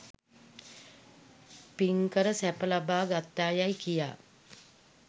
පින් කර සැප ලබා ගත්තායැයි කියා